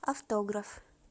автограф